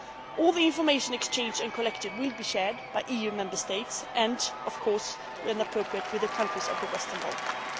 Poland. All the information exchanged and collected will be shared by EU Member States and, of course, when appropriate, with the countries of the Western